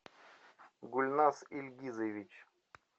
гульназ ильгизович